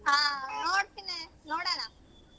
ಆ ನೋಡ್ತಿನ್ ನೋಡೋಣ.